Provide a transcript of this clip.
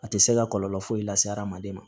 A tɛ se ka kɔlɔlɔ foyi lase hadamaden ma